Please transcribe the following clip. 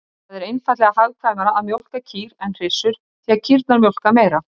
Það er einfaldlega hagkvæmara að mjólka kýr en hryssur, því kýrnar mjólka meira.